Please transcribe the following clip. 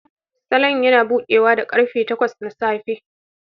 Salon yana buɗewa da karfe takwas na safe.